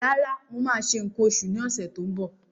Rárá, mo máa ṣe nǹkan oṣù ní ọ̀sẹ̀ tó ń bọ̀.